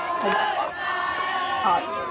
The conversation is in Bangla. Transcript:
আরেব্বাবা, art